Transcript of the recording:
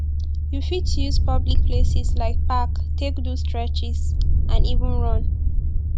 you fit use public places like park take do stretches and even run